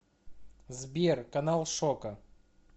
сбер канал шока